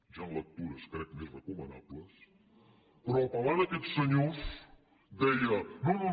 hi han lectures crec més recomanables però apel·lant a aquests senyors deia no no